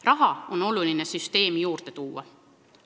Raha on oluline süsteemi juurde tuua.